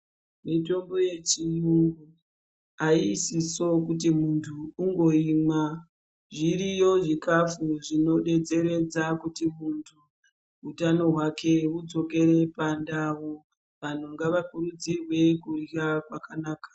Mutombo yechiyungu aisiso kuti muntu ungoimwa zviriyo zvikafu zvinodetseredza kuti muntu utano hwake hudzokore pandau vanhu ngavakurudzirwe kurya kwakanaka.